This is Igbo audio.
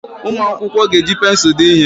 Ụmụ akwụkwọ ga-eji pensụl dee ihe.